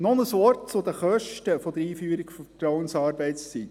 Noch ein Wort zu den Kosten der Einführung der Vertrauensarbeitszeit: